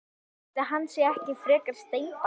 Ætli hann sé ekki frekar steinbarn.